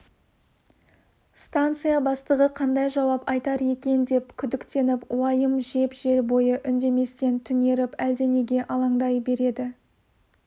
станция бастығы қандай жауап айтар екен деп күдіктеніп уайым жеп жол бойы үндеместен түнеріп әлденеге алаңдай береді